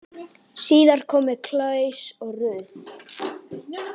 Síðar komu Claus og Ruth.